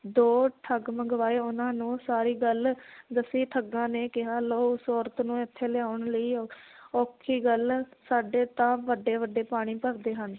ਦੋ ਠੱਗ ਮੰਗਵਾਏ ਉਹਨਾਂ ਨੂੰ ਸਾਰੀ ਗੱਲ ਦੱਸੀ ਠੱਗਾਂ ਨੇ ਕਿਹਾ ਲਓ ਉਸ ਔਰਤ ਨੂੰ ਇਥੇ ਲਿਆਉਣ ਲਈ ਔਖੀ ਗੱਲ, ਸਾਡੇ ਤਾਂ ਵੱਡੇ ਵੱਡੇ ਪਾਣੀ ਭਰਦੇ ਹਨ